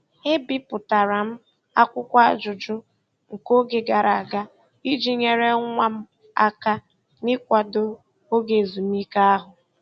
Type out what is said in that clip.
E bipụtara m akwụkwọ ajụjụ nke oge gara aga iji nyere nwa m aka n'ịkwado oge ezumike ahụ.